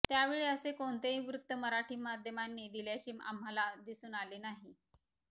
त्यावेळी असे कोणतेही वृत्त मराठी माध्यमांनी दिल्याचे आम्हाला दिसून आले नाही